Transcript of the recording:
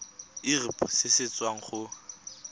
irp se se tswang go